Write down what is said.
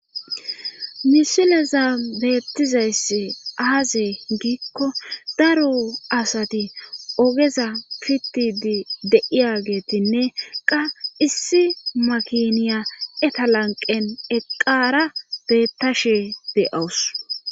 misileza beettizayssi aaze giikko daro asati ogeza pittidi de'iyageetinne qa issi makiniya eta lanqen eqara beettashe de'awus